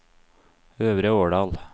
Øvre Årdal